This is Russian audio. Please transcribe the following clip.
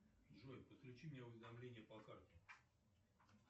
джой подключи мне уведомления по карте